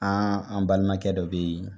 an balimakɛ dɔ bɛ ye.